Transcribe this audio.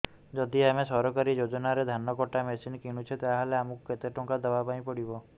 ଯଦି ଆମେ ସରକାରୀ ଯୋଜନାରେ ଧାନ କଟା ମେସିନ୍ କିଣୁଛେ ତାହାଲେ ଆମକୁ କେତେ ଟଙ୍କା ଦବାପାଇଁ ପଡିବ